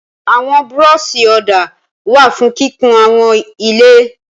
Àwọn búrọ́ṣì ọ̀dà wà fún kíkun àwọn ilé.